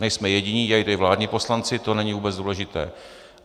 Nejsme jediní, dělají to i vládní poslanci, to není vůbec důležité.